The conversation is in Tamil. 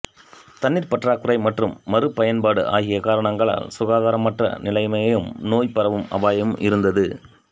தண்ணீர் பற்றாக்குறை மற்றும் மறுபயன்பாடு ஆகிய காரணங்களால் சுகாதாரமற்ற நிலைமையும் நோய் பரவும் அபாயமும் இருந்தது